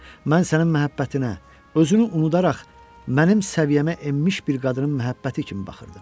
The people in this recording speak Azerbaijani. Mən sənin məhəbbətinə, özünü unudaraq mənim səviyyəmə enmiş bir qadının məhəbbəti kimi baxırdım.